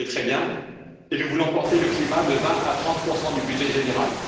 C'est très bien, et nous voulons porter le climat de 20 à 30 du budget général.